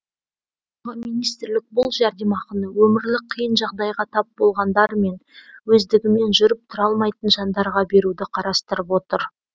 тағы министрлік бұл жәрдемақыны өмірлік қиын жағдайға тап болғандар мен өздігімен жүріп тұра алмайтын жандарға беруді қарастырып отыр